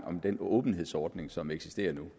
om den åbenhedsordning som eksisterer nu